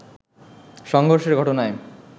সংঘর্ষের ঘটনায়